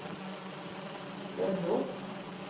Bømlo